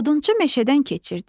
Odunçu meşədən keçirdi.